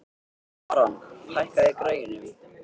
Aran, hækkaðu í græjunum.